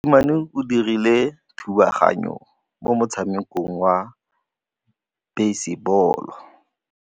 Mosimane o dirile thubaganyô mo motshamekong wa basebôlô.